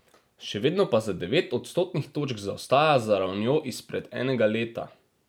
Še vedno pa za devet odstotnih točk zaostaja za ravnjo izpred enega leta.